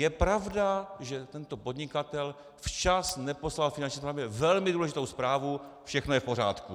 Je pravda, že tento podnikatel včas neposlal Finanční správě velmi důležitou zprávu "všechno je v pořádku".